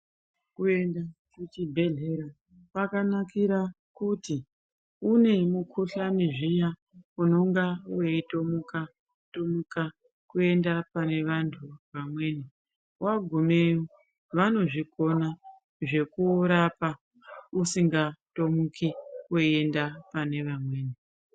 Kuenda kuchibhedhlera kwakanakira kuti, une mukhuhlani zviya unonga weitomuka-tomuka kuende pane antu vamweni. Wagumeyo vanozvikona zvekurapa usingatomuki weienda panevamweni.